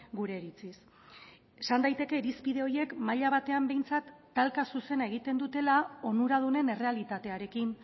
gure iritziz esan daiteke irizpide horiek maila batean behintzat talka zuzena egiten dutela onuradunen errealitatearekin